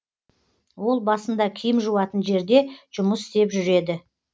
ол басында киім жуатын жерде жұмыс істеп жүреді